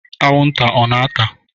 Anwụnta ọ na-ata?